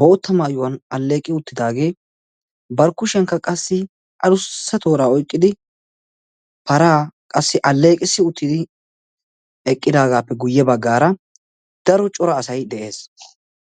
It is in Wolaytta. bootta maayuwaan alleeqi uttidagee bari kushshiyaankka qassi adussa tooraa oyqqidi paraa qassi alleqissi uttidi eqqidagappe guye baggaara daro cora asay de'ees.